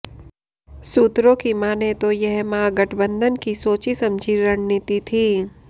सूत्रों की माने तो यह महागठबंधन की सोची समझी रणनीति थी